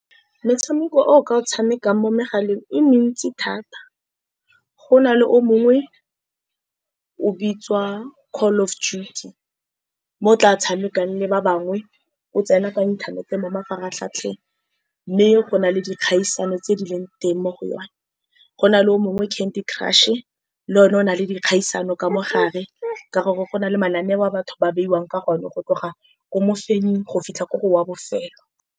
Metshameko e o ka o tshamekang mo megaleng e mentsi thata. Go na le o mongwe o bitswa Call of Duty, mo o tla tshamekang le ba bangwe. O tsena kwa inthanete mo mafaratlhatlheng, mme go na le dikgaisano tse di leng teng mo go yone. Go na le o mongwe, Candy Crush-e, le o ne o na le dikgaisano ka mogare, ka gore go na le mananeo a batho ba beiwang ka gone go tloga ko mofenying go fitlha ko gore wa bofelo.